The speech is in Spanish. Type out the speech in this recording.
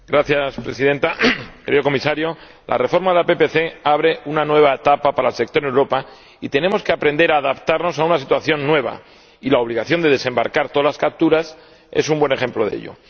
Señora Presidenta, querido Comisario, la reforma de la PPC abre una nueva etapa para el sector en Europa, y tenemos que aprender a adaptarnos a una situación nueva la obligación de desembarcar todas las capturas es un buen ejemplo de ello.